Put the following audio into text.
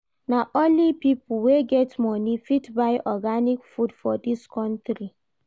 Na only pipo wey get moni fit buy organic food for dis country.